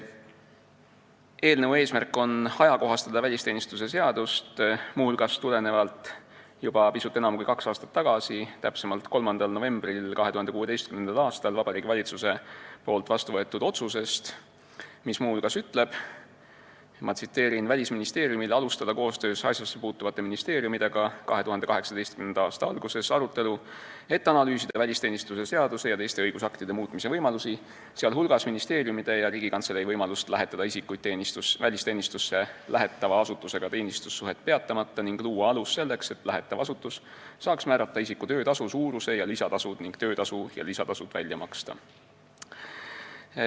Eelnõu eesmärk on ajakohastada välisteenistuse seadust, muu hulgas tulenevalt Vabariigi Valitsuse juba pisut enam kui kaks aastat tagasi, täpsemalt 3. novembril 2016. aastal vastu võetud otsusest, mis ütleb: "Välisministeeriumil alustada koos asjassepuutuvate ministeeriumidega 2018. aasta alguses arutelu, et analüüsida välisteenistuse seaduse ja teiste õigusaktide muutmise võimalusi, sh ministeeriumide ja Riigikantselei võimalust lähetada isikuid välisteenistusse lähetava asutusega teenistussuhet peatamata ning luua alus selleks, et lähetav asutus saaks määrata isiku töötasu suuruse ja lisatasud ning töötasud ja lisatasud välja maksta.